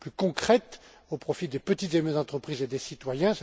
concrète au profit des petites et moyennes entreprises et des citoyens.